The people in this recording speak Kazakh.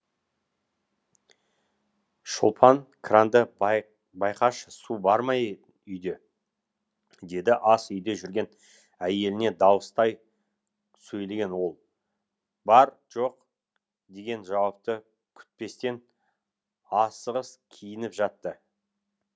шолпан кранды байқашы су бар ма үйде деді ас үйде жүрген әйеліне дауыстай сөйлеген ол бар жоқ деген жауапты күтпестен асығыс киініп жатты